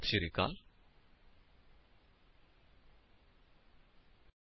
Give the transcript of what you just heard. ਇਸ ਟਿਊਟੋਰਿਅਲ ਵਿੱਚ ਸ਼ਾਮਿਲ ਹੋਣ ਲਈ ਧੰਨਵਾਦ